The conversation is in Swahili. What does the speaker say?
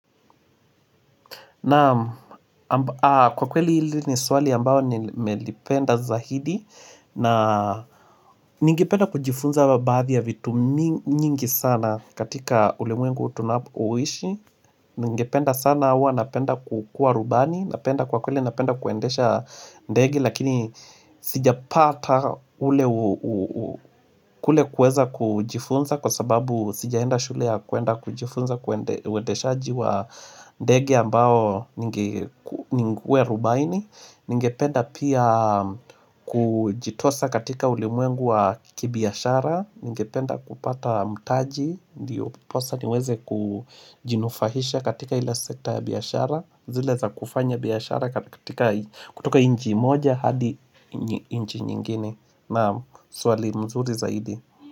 Naam kwa kweli hili ni swali ambao nimelipenda zaidi na ningependa kujifunza wa baadhi ya vitu mi nyingi sana katika ulimwengu tunapoishi Ningependa sana huwa napenda kukua rubani napenda kwa kweli napenda kuendesha ndege lakini sijapata ule ule kueza kujifunza Kwa sababu sijaenda shule ya kuenda kujifunza uendeshaji wa ndege ambao ninge kuwa rubaini Ningependa pia kujitosa katika ulimwengu wa ki kibiashara Ningependa kupata mtaji Ndiyoposa niweze kujinufahisha katika ila sekta ya biashara zile za kufanya biashara katika kutoka nchi moja hadi nchi nyingine Naam swali mzuri zaidi.